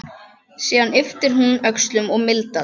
Síðan ypptir hún öxlum og mildast.